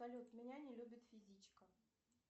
салют меня не любит физичка